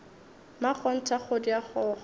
mmakgonthe a kgodi a kgokgo